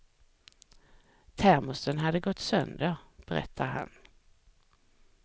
Termosen hade gått sönder, berättar han.